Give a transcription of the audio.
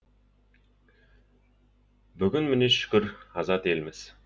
бүгін міне шүкір азат елміз